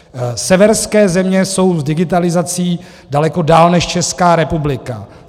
Severské země jsou s digitalizací daleko dál než Česká republika.